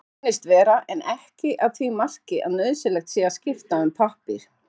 Svo reynist vera en ekki að því marki að nauðsynlegt sé að skipta um pappír.